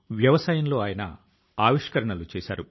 అవి మనకు చాలా నేర్పుతాయి